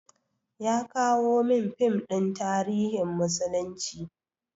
Ya kawo min fim ɗin tarihin musulunci.